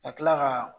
Ka kila ka